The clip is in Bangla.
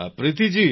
প্রীতি জি